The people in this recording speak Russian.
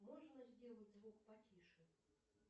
можно сделать звук потише